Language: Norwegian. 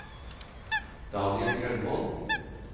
Daniel Grønvold